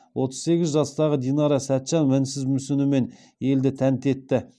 отыз сегіз жастағы динара сәтжан мінсіз мүсінімен елді тәнті етті